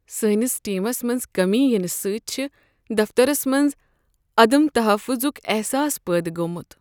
سٲنس ٹیمس منٛز کمی یِنہٕ سۭتۍ چھ دفترس منٛز عدم تحفظک احساس پٲدٕ گوٚومت۔